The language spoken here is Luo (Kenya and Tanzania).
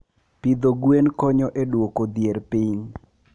Pidho gwen konyo e dwoko dhier piny.